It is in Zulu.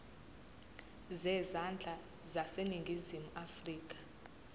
zezandla zaseningizimu afrika